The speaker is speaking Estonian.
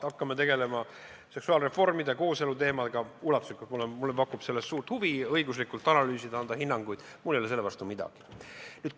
Hakkame tegelema seksuaalreformide ja kooselu teemaga, mulle pakub suurt huvi seda õiguslikult analüüsida, anda hinnanguid, mul ei ole selle vastu midagi.